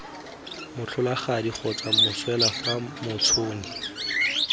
motlholagadi kgotsa moswelwa fa motšhoni